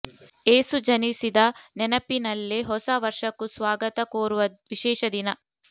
ಯೇಸು ಜನಿಸಿದ ನೆನಪಿನಲ್ಲೇ ಹೊಸ ವರ್ಷಕ್ಕೂ ಸ್ವಾಗತ ಕೋರುವ ವಿಶೇಷ ದಿನ